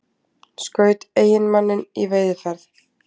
Skaut eiginmanninn í veiðiferð